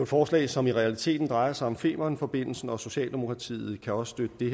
forslag som i realiteten drejer sig om femernforbindelsen og socialdemokratiet kan også støtte det